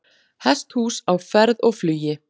Hesthús á ferð og flugi